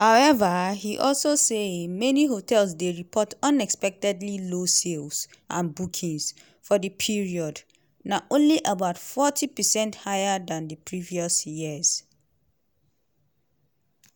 however e also say many hotels dey report unexpectedly low sales and bookings for di period na only about forty percent higher dan di previous years.